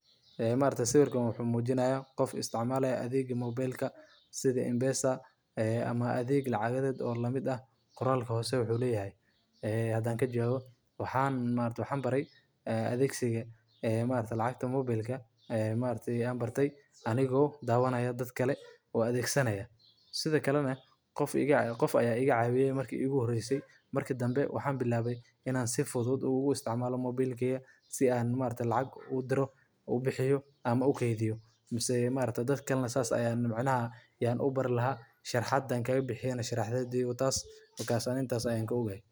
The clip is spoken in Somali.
App-ka Safaricom waa barnaamij casri ah oo loo sameeyay si loo fududeeyo adeegyada isgaarsiinta iyo lacagaha mobilka ee dadka isticmaala Safaricom. Waxa uu bixiyaa adeegyo kala duwan sida lacag diris iyo helis, biilasha telefoonka oo la bixiyo, iyo xitaa adeegyada internetka ee dhaqso badan. Isticmaalka app-kan ayaa ka dhigaya in macaamiishu ay si fudud u maareeyaan koontadooda, ay arkaan taariikhda isticmaalka, iyo inay helaan dallacsiin iyo qiimo dhimis gaar ah.